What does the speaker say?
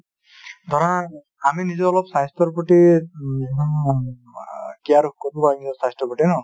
ধৰা আমি নিজেও অলপ স্বাস্থ্যৰ প্ৰতি care কৰো স্বাস্থ্যৰ প্ৰতি ন ?